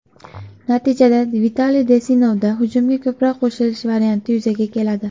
Natijada Vitaliy Denisovda hujumga ko‘proq qo‘shilish varianti yuzaga keladi.